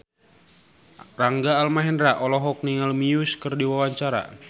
Rangga Almahendra olohok ningali Muse keur diwawancara